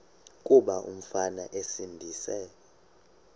kuba umfana esindise